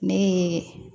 Ne ye